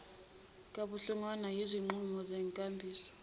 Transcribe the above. kabuhlungwana yizinqumo zenkambiso